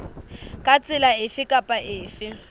ka tsela efe kapa efe